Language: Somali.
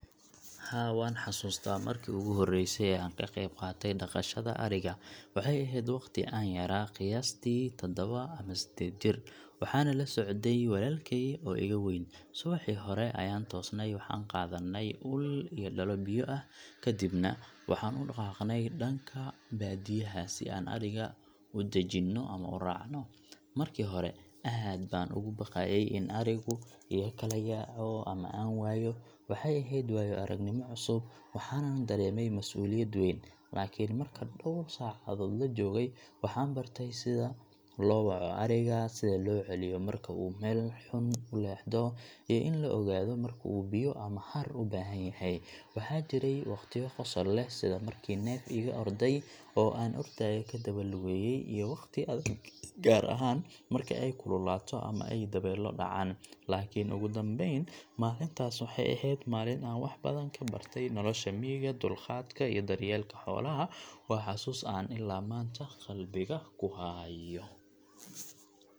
Haa, waan xasuustaa markii ugu horreysay ee aan ka qayb qaatay dhaqashada ariga. Waxay ahayd waqti aan yaraa, qiyaastii taddawa ama seddeed jir, waxaana la socday walaalkey oo iga weyn. Subaxii hore ayaan toosnay, waxaan qaadanay ul iyo dhalo biyo ah, ka dibna waxaan u dhaqaaqnay dhanka baadiyaha si aan ariga u daajinno ama uraacno. Markii hore, aad baan uga baqayay in arigu iga kala yaaco ama aan waayo. Waxay ahayd waayo-aragnimo cusub, waxaanan dareemayay mas’uuliyad weyn. Laakiin marka dhawr saacadood la joogay, waxaan bartay sida loo waco ariga, sida loo celiyo marka uu meel xun u leexdo, iyo in la ogaado marka uu biyo ama hadh u baahan yahay. Waxaa jiray waqtiyo qosol leh, sida markii neef iga orday oo aan ordayo ka daba lugeeyay, iyo waqtiyo adag, gaar ahaan marka ay kululaato ama ay dabaylo dhacaan. Laakiin ugu dambeyn, maalintaas waxay ahayd maalin aan wax badan ka bartay nolosha miyiga, dulqaadka, iyo daryeelka xoolaha. Waa xusuus aan ilaa maanta qalbiga ku hayo.